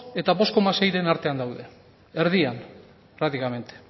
eta bost koma seiren artean daude erdian prácticamente